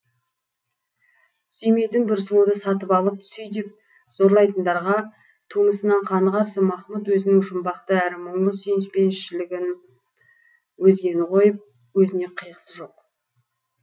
сүймейтін бір сұлуды сатып алып сүй деп зорлайтындарға тумысынан қаны қарсы махмұт өзінің жұмбақты әрі мұңлы сүйіспеншілігін өзгені қойып өзіне қиғысы жоқ